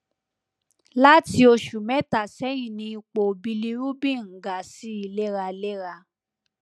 lati oṣù mẹta sẹyìn ni ipò bilirubin ń ga sí i léraléra